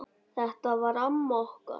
Þetta var amma okkar.